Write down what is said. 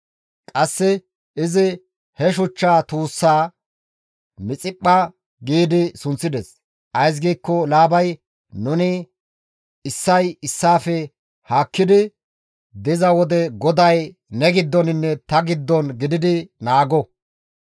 Qasse izi he shuchcha tuussaa Mixiphpha gi sunththides; ays giikko Laabay, «Nuni issay issaafe haakkidi diza wode GODAY ne giddoninne ta giddon gididi naago.